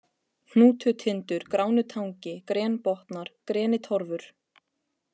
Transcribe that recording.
Hnútutindur, Gránutangi, Grenbotnar, Grenitorfur